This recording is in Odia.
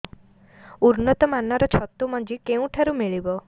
ଉନ୍ନତ ମାନର ଛତୁ ମଞ୍ଜି କେଉଁ ଠାରୁ ମିଳିବ